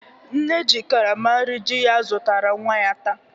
Nne ji karama nri di ya zụtara nwa ya taa.